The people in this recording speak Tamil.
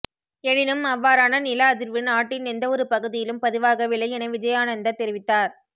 எனினும் அவ்வாறான நில அதிர்வு நாட்டின் எந்தவொரு பகுதியிலும் பதிவாகவில்லை என விஜயானந்த தெரிவித்தார்